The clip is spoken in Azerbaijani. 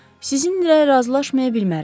Sizinlə razılaşmaya bilmərəm.